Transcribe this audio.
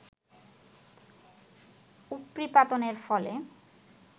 উপরিপাতনের ফলে